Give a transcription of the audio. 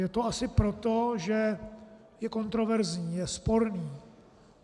Je to asi proto, že je kontroverzní, je sporný.